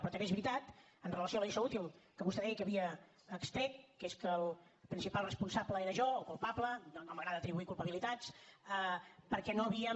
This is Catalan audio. però també és veritat amb relació a la lliçó útil que vostè deia que havia extret que és que el principal responsable era jo o culpable no m’agrada atribuir culpabilitats perquè no havíem